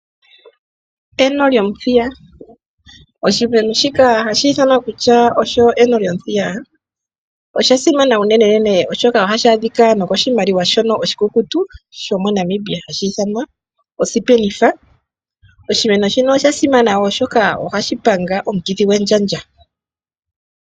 Eno lyomuthiya Oshimeno shika osha simana unenenene, molwaashoka ohashi adhika nokoshimaliwa shoka oshikukutu sho moNamibia hashi ithanwa osipenitha. Oshimeno shino osha simana, oshoka ohashi panga omukithi gwendjandja.